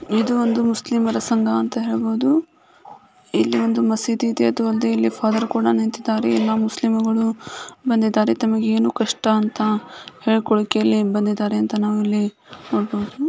ಇದು ಒಂದು ಮುಸ್ಲಿಮರ ಸಂಘ ಅಂತ ಹೇಳ್ಬೋದು. ಇಲ್ಲಿ ಒಂದು ಮಸೀದಿ ಇದೆ ಅದು ಅಲ್ದೆ ಇಲ್ಲಿ ಫಾದರ್ ಕೂಡ ನಿಂತಿದ್ದಾರೆ ಎಲ್ಲಾ ಮುಸ್ಲಿಮುಗಳು ಬಂದಿದ್ದಾರೆ ತಮಗೆ ಏನು ಕಷ್ಟ ಅಂತ ಹೇಳ್ಕೊಳ್ಳಿಕ್ಕೆ ಇಲ್ಲಿ ಬಂದಿದ್ದಾರೆ ಅಂತ ನಾವು ಇಲ್ಲಿ ನೋಡ್ಬೋದು.